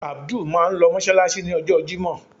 Abdul máà ń lọ mọ́ṣáláṣí. ní ọjọ́ jimo.